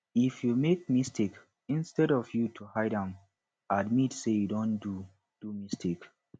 if you make mistake instead of ypu to hide am admit sey you don do do mistake